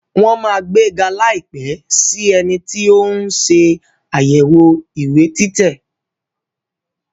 Wọ́n á gbega láìpẹ́ sí ẹni tí tò ń ṣe àyẹ̀wò ìwé títẹ̀